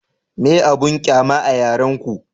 meye abun ƙyama a yaren ku?